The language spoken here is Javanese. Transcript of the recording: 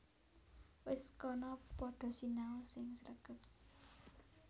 Wis kana padha sinau sing sregep